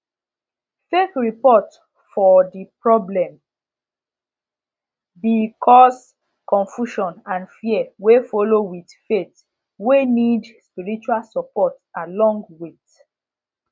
fake report for de problem be cause confusion and fear wey follow with faith wey need spirtual support along with